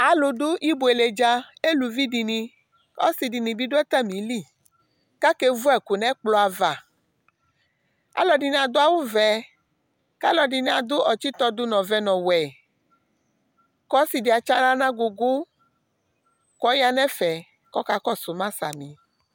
alu du ibuélé dza éluvi dini ɔsi dini bi du atamili ka ké vu ɛku nɛ ɛkplɔava alu ɛdini adu awu vɛ ka alɛdini adu ɔtsitɔdu nu ɔvɛ nu ɔwɛ kɔ ɔsi di atsi aɣla na agugu kɔya nɛ ɛfɛ kɔ kakɔsuma sami